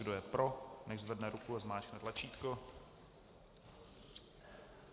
Kdo je pro, nechť zvedne ruku a zmáčkne tlačítko.